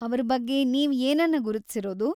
ಅವ್ರ ಬಗ್ಗೆ ನೀವ್‌ ಏನನ್ನ ಗುರುತಿಸಿರೋದು?